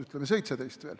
ütleme, veel 2017.